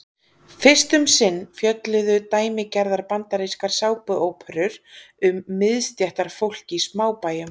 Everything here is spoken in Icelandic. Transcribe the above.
Fyrst um sinn fjölluðu dæmigerðar bandarískar sápuóperur um miðstéttarfólk í smábæjum.